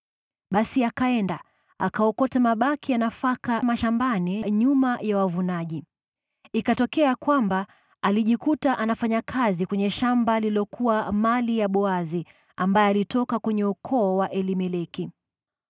Basi akaenda, akaokota mabaki ya nafaka mashambani nyuma ya wavunaji. Ikatokea kwamba alijikuta anafanya kazi kwenye shamba lililokuwa mali ya Boazi, ambaye alitoka kwenye ukoo wa Elimeleki.